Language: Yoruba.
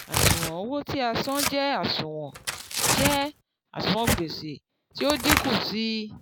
àṣùwọ̀n owó tí a san jẹ́ àṣùwọ̀n jẹ́ àṣùwọ̀n gbèsè tí ó dínkù sí i